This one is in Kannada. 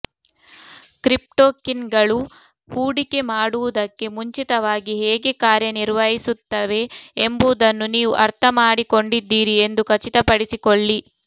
ಕ್ರಿಪ್ಟೋಕಿನ್ಗಳು ಹೂಡಿಕೆ ಮಾಡುವುದಕ್ಕೆ ಮುಂಚಿತವಾಗಿ ಹೇಗೆ ಕಾರ್ಯನಿರ್ವಹಿಸುತ್ತವೆ ಎಂಬುದನ್ನು ನೀವು ಅರ್ಥಮಾಡಿಕೊಂಡಿದ್ದೀರಿ ಎಂದು ಖಚಿತಪಡಿಸಿಕೊಳ್ಳಿ